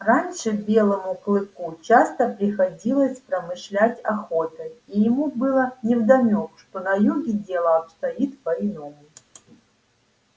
раньше белому клыку часто приходилось промышлять охотой и ему было невдомёк что на юге дело обстоит по иному